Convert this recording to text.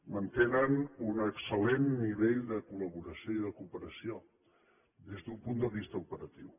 mantenen un excel·lent nivell de col·laboració i de cooperació des d’un punt de vista operatiu